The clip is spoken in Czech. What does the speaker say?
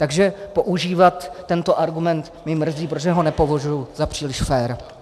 Takže používat tento argument mě mrzí, protože ho nepovažuji za příliš fér.